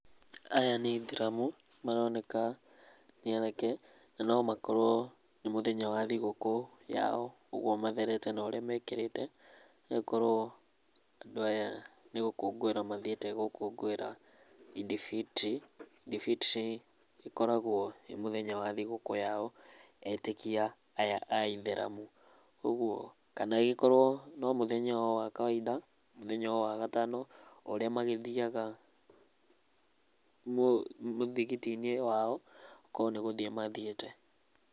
Aya nĩ aithĩramu maroneka, nĩ anake na no makorwo nĩ mũthenya wa thigũkũ ya o, ũguo matherete na ũríĩ mekĩrĩte. Nĩgũkorwoa andũ aya nĩgũkũngũĩra mathiĩte gũkũngũĩra Idd-Fitr. Idd-Fitr ikoragwo nĩ mũthenya wa thigũkũ ya o etĩkia aya a ithĩramu, ũguo kana magĩkorwo no mũthenya wa kawaida, mũthenya o wa gatano, ũrĩa magĩthiyaga mũthigiti-inĩ wa o, korwo nĩgũthiĩ mathiĩte.